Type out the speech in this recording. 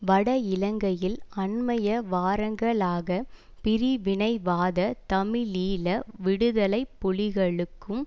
வட இலங்கையில் அண்மைய வாரங்களாக பிரிவினைவாத தமிழீழ விடுதலை புலிகளுக்கும்